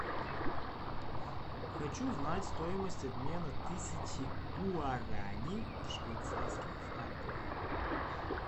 хочу знать стоимость обмена тысячи гуарани в швейцарских франках